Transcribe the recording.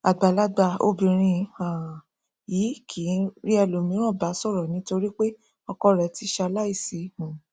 àgbàlagbà obìrin um yìí kìí rí ẹlòmíràn bá sọrọ nítorípé ọkọ rẹ ti ṣaláìsí um